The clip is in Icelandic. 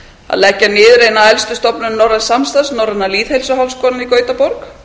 að leggja niður eina elstu stofnun norræns samstarfs norræna lýðheilsuháskólann í gautaborg